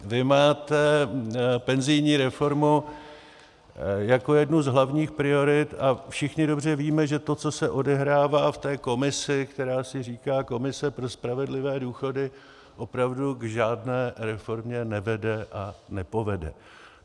Vy máte penzijní reformu jako jednu z hlavních priorit, a všichni dobře víme, že to, co se odehrává v té komisi, která si říká Komise pro spravedlivé důchody, opravdu k žádné reformě nevede a nepovede.